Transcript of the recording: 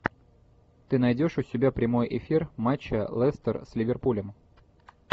ты найдешь у себя прямой эфир матча лестер с ливерпулем